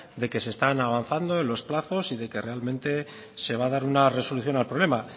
de que se están avanzando en los plazos y de que realmente se va a dar una resolución al problema